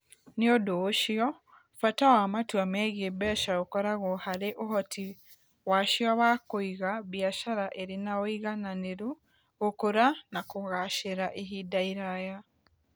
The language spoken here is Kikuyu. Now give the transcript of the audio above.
Nĩ ũndũ ũcio, bata wa matua megiĩ mbeca ũkoragwo harĩ ũhoti wacio wa kũiga biacara ĩrĩ na ũigananĩru, gũkũra, na kũgaacĩra ihinda iraya.